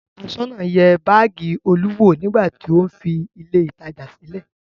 Aṣọ́nà náà yẹ báágì Olú wò nígbà tí ó ń fi ilé-ìtajà sílẹ̀.